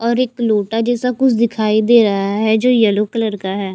और एक लुटा जैसा कुछ दिखाई दे रहा है जो येलो कलर का है।